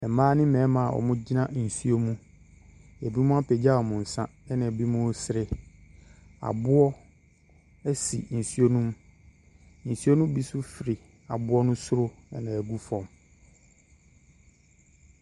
Mmaa ne mmarima a wɔgyina nsuo mu. Binom apagya wɔn nsa na binom resere. Aboɔ si nsuo no mu. Nsuo no bi nso firi aboɔ no soro na ɛregu fam.